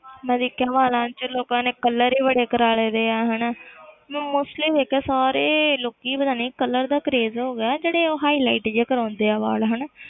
ਮੈਂ ਦੇਖਿਆ ਨਾ ਵਾਲਾਂ 'ਚ ਲੋਕਾਂ ਨੇ colour ਹੀ ਬੜੇ ਕਰਵਾ ਲਏ ਦੇ ਆ ਹਨਾ ਮੈਂ mostly ਦੇਖਿਆ ਸਾਰੇ ਲੋਕੀ ਪਤਾ ਨੀ colour ਦਾ craze ਹੋ ਗਿਆ, ਜਿਹੜੇ ਉਹ highlight ਜਿਹੇ ਕਰਵਾਉਂਦੇ ਆ ਵਾਲ ਹਨਾ